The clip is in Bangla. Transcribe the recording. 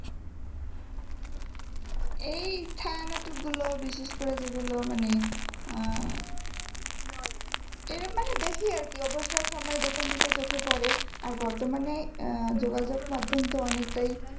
এই ছায়া নাটক গুলো বিশেষ করে যেগুলো মানে আহ এরম মানে বেশি আরকি অবসর সময়ে যখন যেটা চোখে পড়ে আর বর্তমানে আহ যোগাযোগ মাধ্যম তো অনেকটাই